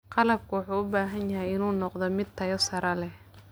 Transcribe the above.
Qalabku wuxuu u baahan yahay inuu noqdo mid tayo sare leh.